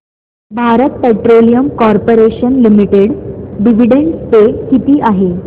Bharat Petroleum Corporation Limited dividend pay किती आहे